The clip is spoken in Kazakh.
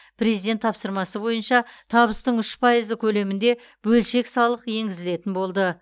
президент тапсырмасы бойынша табыстың үш пайызы көлемінде бөлшек салық енгізілетін болды